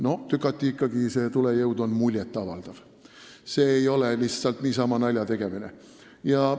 No see tulejõud on tükati ikka muljet avaldav, see ei ole lihtsalt niisama naljategemine.